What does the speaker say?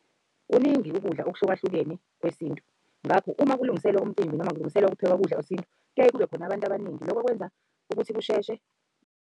Kuningi ukudla okuhlukahlukene kwesintu ngakho uma kulungiselwa umcimbi noma kulungisela ukuphekwa ukudla kwesintu kuyaye kube khona abantu abaningi. Loko kwenza ukuthi kusheshe.